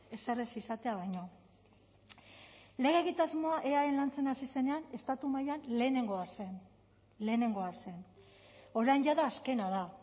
ezer ez izatea baino lege egitasmoa eaen lantzen hasi zenean estatu mailan lehenengoa zen lehenengoa zen orain jada azkena da